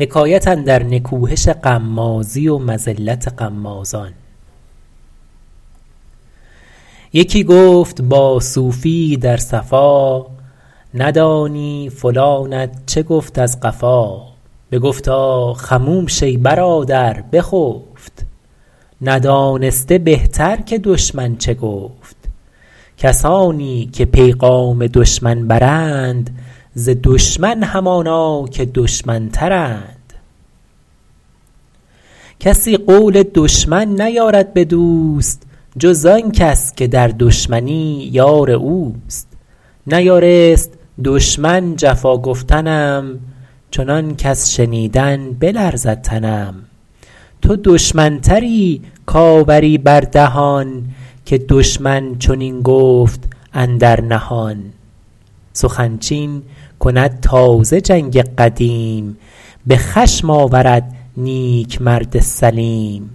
یکی گفت با صوفی یی در صفا ندانی فلانت چه گفت از قفا بگفتا خموش ای برادر بخفت ندانسته بهتر که دشمن چه گفت کسانی که پیغام دشمن برند ز دشمن همانا که دشمن تر ند کسی قول دشمن نیارد به دوست جز آن کس که در دشمنی یار اوست نیارست دشمن جفا گفتنم چنان کز شنیدن بلرزد تنم تو دشمن تری کآوری بر دهان که دشمن چنین گفت اندر نهان سخن چین کند تازه جنگ قدیم به خشم آورد نیک مرد سلیم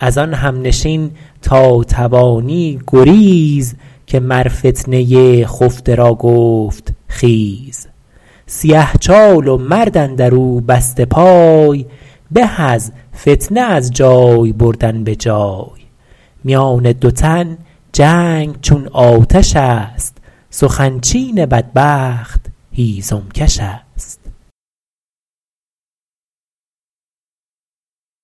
از آن همنشین تا توانی گریز که مر فتنه خفته را گفت خیز سیه چال و مرد اندر او بسته پای به از فتنه از جای بردن به جای میان دو تن جنگ چون آتش است سخن چین بدبخت هیزم کش است